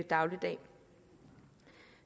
dagligdag